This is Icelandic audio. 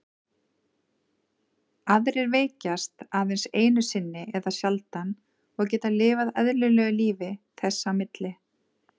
Aðrir veikjast aðeins einu sinni eða sjaldan og geta lifað eðlilegu lífi þess á milli.